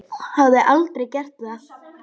Hafði aldrei gert það.